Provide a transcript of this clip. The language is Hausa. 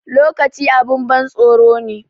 Lokaci abun ban tsoro ne